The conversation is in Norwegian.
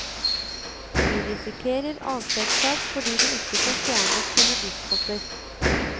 De risikerer avskjedssak fordi de ikke får fjernet sine biskoper.